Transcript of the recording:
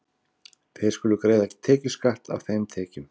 Þeir skulu greiða tekjuskatt af þeim tekjum.